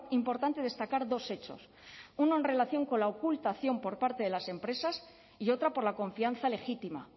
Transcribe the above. importante destacar dos hechos uno en relación con la ocultación por parte de las empresas y otra por la confianza legítima